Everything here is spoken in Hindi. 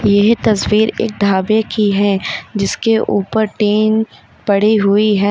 ये तस्वीर एक ढाबे की है जिसके ऊपर टीन पड़ी हुई है।